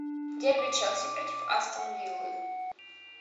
дерби челси против астон виллы